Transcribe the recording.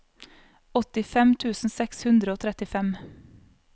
åttifem tusen seks hundre og trettifem